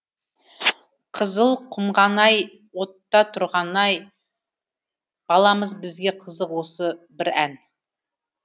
қызыл құмған ай отта тұрған ай баламыз бізге қызық осы бір ән